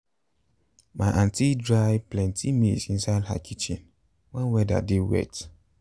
my aunty dry plenty maize inside her kitchen when weather dey wet.